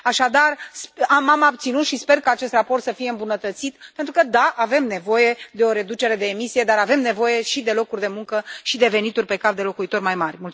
Așadar, m am abținut și sper ca acest raport să fie îmbunătățit, pentru că da, avem nevoie de o reducere de emisii, dar avem nevoie și de locuri de muncă și de venituri pe cap de locuitor mai mari.